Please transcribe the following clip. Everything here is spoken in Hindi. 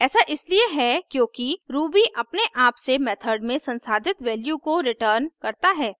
ऐसा इसलिए है क्योंकि ruby अपने आप से मेथड में संसाधित वैल्यू को return करता है